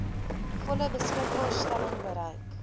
volle beskikbaarstelling bereik